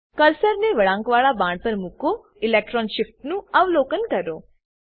કર્સરને વળાંકવાળા બાણ પર મુકો અને ઇલેક્ટ્રોન શિફ્ટનું અવલોકન કરો